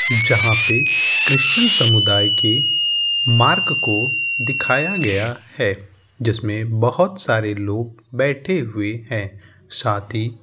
जहां पे क्रिश्चियन समुदाय के मार्क को दिखाया गया है जिसमें बहोत सारे लोग बैठे हुए हैं। साथ ही --